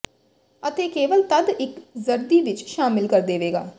ਅਤੇ ਕੇਵਲ ਤਦ ਇੱਕ ਜ਼ਰਦੀ ਵਿੱਚ ਸ਼ਾਮਿਲ ਕਰ ਦੇਵੇਗਾ